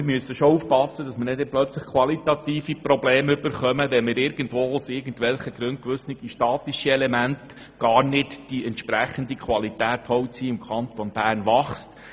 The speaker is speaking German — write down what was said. Wir müssen schon aufpassen, dass wir nicht plötzlich qualitative Probleme bekommen, wenn zum Beispiel für gewisse statische Elemente gar nicht die entsprechende Qualität Holz im Kanton Bern wächst.